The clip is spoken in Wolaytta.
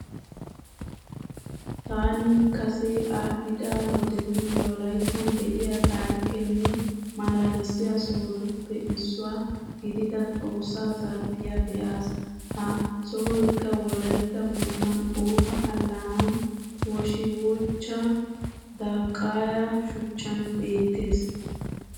Taani kase aadhdhida wodetun wolayttan de'iya taarikkenne malaalissiya sohotuppe issuwa gidida Xoossa zarphphiya be'aas. Ha sohoykka wolaytta moottan Oofa allaanani woshiwochcha daqqaya shuchchaan beettees.